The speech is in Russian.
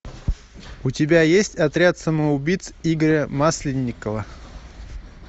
у тебя есть отряд самоубийц игоря масленникова